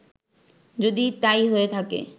যদি তাই হয়ে থাকে